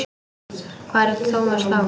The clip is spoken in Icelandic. Hvar er Thomas Lang?